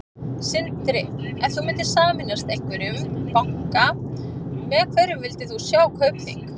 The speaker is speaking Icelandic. Sindri: Ef þú myndir sameinast einhverjum banka, með hverjum myndir þú vilja sjá Kaupþing?